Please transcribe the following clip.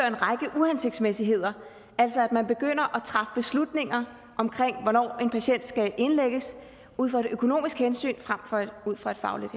en række uhensigtsmæssigheder altså at man begynder at træffe beslutninger om hvornår en patient skal indlægges ud fra et økonomisk hensyn frem for ud fra et fagligt